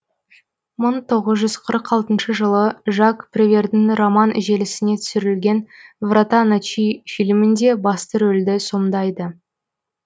мың тоғыз жүз қырық алтыншы жылы жак превердің роман желісіне түсірілген врата ночи фильмінде басты рөлді сомдайды